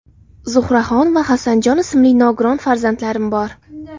Zuhraxon va Hasanjon ismli nogiron farzandlarim bor.